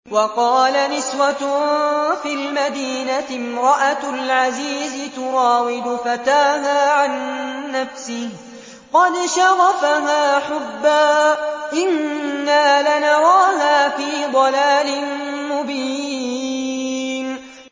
۞ وَقَالَ نِسْوَةٌ فِي الْمَدِينَةِ امْرَأَتُ الْعَزِيزِ تُرَاوِدُ فَتَاهَا عَن نَّفْسِهِ ۖ قَدْ شَغَفَهَا حُبًّا ۖ إِنَّا لَنَرَاهَا فِي ضَلَالٍ مُّبِينٍ